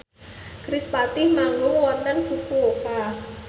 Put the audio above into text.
kerispatih manggung wonten Fukuoka